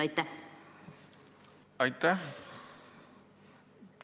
Aitäh!